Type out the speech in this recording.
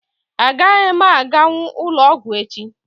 Agaghị m aganwu ụlọọgwụ echi